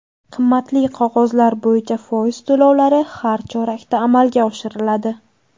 Qimmatli qog‘ozlar bo‘yicha foiz to‘lovlari har chorakda amalga oshiriladi.